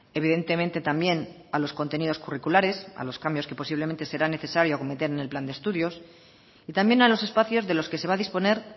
evidentemente también a los contenidos curriculares a los cambios que posiblemente será necesario acometer en el plan de estudios y también a los espacios de los que se va a disponer